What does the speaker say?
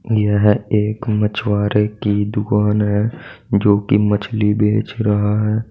यह एक मछुआरे की दुकान है जो की मछली बेच रहा है।